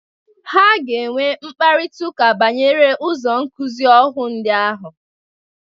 Ha ga-enwe mkparịtaụka banyere ụzọ nkụzị ọhụ ndị ahụ.